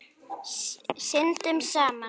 Syndum saman.